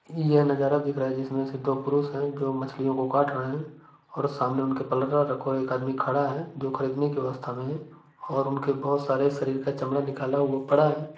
यह नजारा दिख रहा है जिसमे से दो पुरुष है जो मछलियों को काट रहे है और सामने उनके पलड़ा रखा हुआ है एक आदमी खड़ा हुआ है जो खरीदने की व्यवस्था में है और उनके बहोत सारे शरीर का चमड़ा निकला हुआ पड़ा है ।